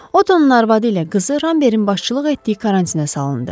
Ottonun arvadı ilə qızı Rambertin başçılıq etdiyi karantinə salındı.